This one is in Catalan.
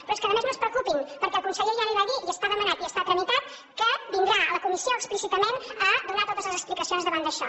però és que a més no es preocupin perquè el conseller ja li va dir i està demanat i està tramitat que vindrà a la comissió explícitament a donar totes les explicacions davant d’això